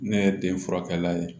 Ne ye den furakɛ la ye